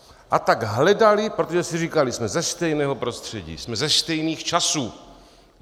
A tak hledali, protože si říkali: Jsme ze stejného prostředí, jsme ze stejných časů.